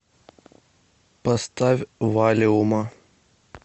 поставь валиума